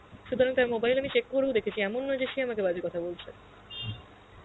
সুতরাং তার mobile আমি check করেও দেখেছি এমন নয় যে সে আমাকে বাজে কথা বলছে